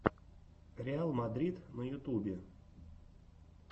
реал мадрид на ютубе